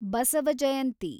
Basava Jayanti